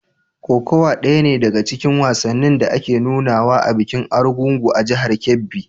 Kokawa ɗaya ne daga cikin wasannin da ake nunawa a bikin Argungu a jihar Kebbi.